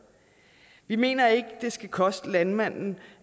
vi mener ikke at det skal koste landmanden